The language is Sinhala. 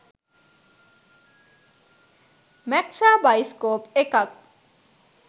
මැක්සා බයිස්කෝප් එකක්.